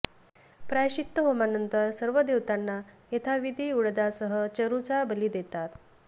प्रायश्चित्त होमानंतर सर्व देवतांना यथाविधी उडदासह चरूचा बली देतात